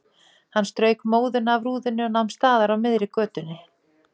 Hann strauk móðuna af rúðunni og nam staðar á miðri götu.